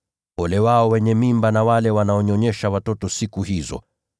Ole wao wenye mimba na wale wanaonyonyesha watoto siku hizo!